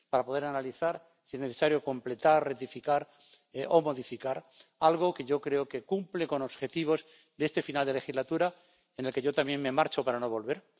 para poder analizar, y, si es necesario, completar, rectificar o modificar algo que yo creo que cumple los objetivos de este final de legislatura, en el que yo también me marcho para no volver.